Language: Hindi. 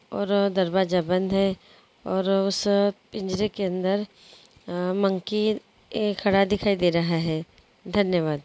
और दरवाजा बंद है और उस पिंजरे के अंदर अ मंकी ए खड़ा दिखाई दे रहा है धन्यवाद।